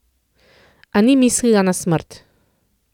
A ni mislila na smrt.